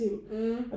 Mh